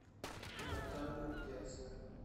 натан дерзкая